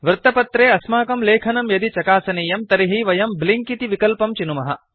वृत्तपत्रे अस्माकं लेखनं यदि चकासनीयं तर्हि वयं ब्लिंक इति विकल्पं चिनुमः